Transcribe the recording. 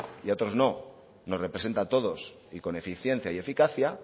o a otros no nos representa a todos y con eficiencia y eficacia